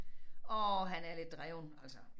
Åh han er lidt dreven altså